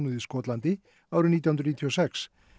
í Skotlandi árið nítján hundruð níutíu og sex